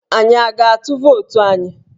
Anyi a ga-atụ vootu anyi?